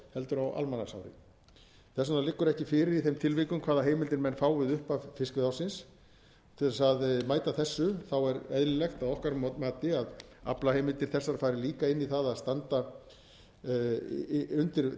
heldur á almanaksári þess vegna liggur ekki fyrir í þeim tilvikum hvaða heimildir menn fá við upphaf fiskveiðiári til þess að mæta þessu er eðlilegt að okkar mati að aflaheimildir þessar fari líka inn í það að standa undir